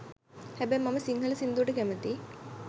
හැබැයි මම සිංහල සින්දුවට කැමතියි